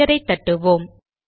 என்டரை தட்டுவோம்